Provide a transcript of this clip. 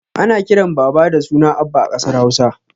Ana kiran baba da suna abba a ƙasar hausa